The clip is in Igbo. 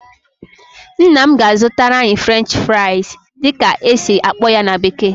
Nna m ga-azụtara anyị "French fries" dịka esi akpọ ya na bekee